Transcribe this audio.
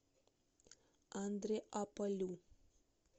андреаполю